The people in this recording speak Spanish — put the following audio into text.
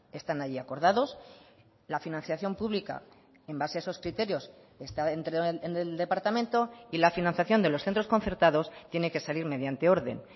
están ahí acordados la financiación pública en base a esos criterios está en el departamento y la financiación de los centros concertados tiene que salir mediante orden